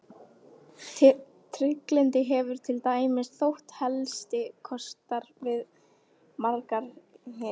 Trygglyndi hefur til dæmis þótt helsti kostur við margar hirðir.